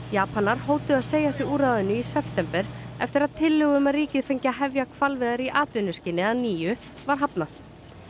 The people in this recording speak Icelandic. Japanar hótuðu að segja sig úr ráðinu í september eftir að tillögu um að ríkið fengi að hefja hvalveiðar í atvinnuskyni að nýju var hafnað